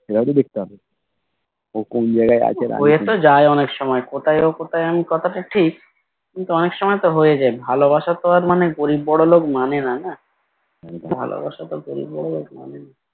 হয়ে তো যায় অনেক সময় কোথায় ও কোথায় আমি কথাটা ঠিক কিন্তু অনেক সময় তো হয়ে যায় ভালোবাসা তো আর মানে গরিব বড়োলোক মানেনা না ভালোবাসা তো গরিব বড়োলোক মানে না